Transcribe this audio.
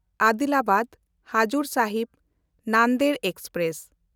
ᱟᱫᱤᱞᱟᱵᱟᱫ-ᱦᱟᱡᱩᱨ ᱥᱟᱦᱤᱵ ᱱᱟᱱᱫᱮᱲ express